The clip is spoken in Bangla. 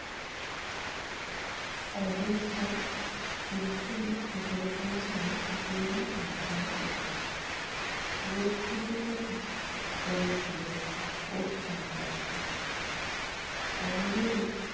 অজস্র চেরি ফুল ঝরে পড়ে ছিল তিতিরের মাথার উপর। মেঘফুলের মতো জমেছিলো ওর চারপাশে। আঙ্গুলের